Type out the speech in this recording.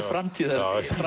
framtíðin